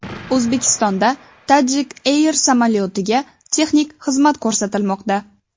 O‘zbekistonda Tajik Air samolyotiga texnik xizmat ko‘rsatilmoqda.